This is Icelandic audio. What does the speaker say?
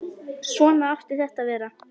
Svona átti þetta að vera.